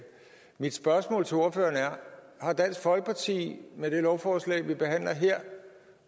mit spørgsmål til ordføreren er har dansk folkeparti med det lovforslag vi behandler her